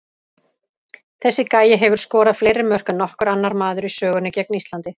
Þessi gæi hefur skorað fleiri mörk en nokkur annar maður í sögunni gegn Íslandi.